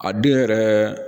A den yɛrɛ